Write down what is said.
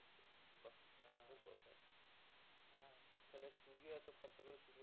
Studio এতো খরচা করে studio